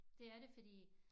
Det er det fordi